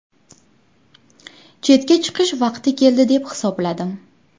Chetga chiqish vaqti keldi deb hisobladim.